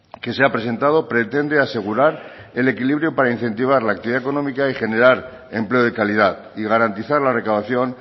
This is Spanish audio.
que se ha presentado pretende asegurar el equilibrio para incentivar la actividad económica y generar empleo de calidad y garantizar la recaudación